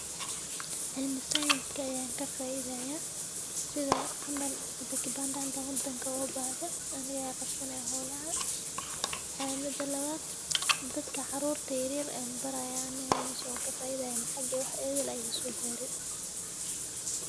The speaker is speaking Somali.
Cilmi science ayan kafaide sitha camal hadi kibandaha hadan wadanka o gabahdo aniga aya qabsanahay holaha, ee mida lawad dadka carurta yaryar barayan anigana mesha wankafaidaya lacag iyo wax idil aya igasogare.